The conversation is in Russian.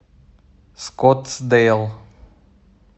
скоттсдейл